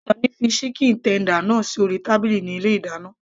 Sunny fi chicken tender náà sí orí tábìlì ní ilé ìdáná